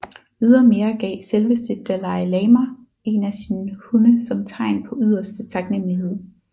Ydermere gav selveste Dalai Lama en af sine hunde som tegn på yderste taknemmelighed